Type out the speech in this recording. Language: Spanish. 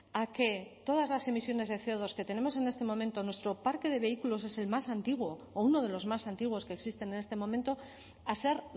a que todas las emisiones de ce o dos que tenemos en este momento nuestro parque de vehículos es el más antiguo o uno de los más antiguos que existen en este momento a ser